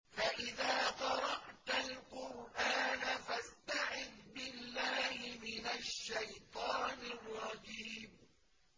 فَإِذَا قَرَأْتَ الْقُرْآنَ فَاسْتَعِذْ بِاللَّهِ مِنَ الشَّيْطَانِ الرَّجِيمِ